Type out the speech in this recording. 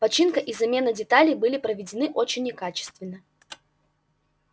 починка и замена деталей были проведены очень некачественно